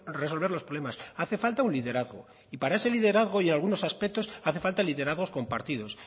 resolver los problemas hace falta un liderazgo y para ese liderazgo y algunos aspectos hace falta liderazgos compartidos